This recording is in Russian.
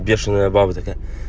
бешеная баба такая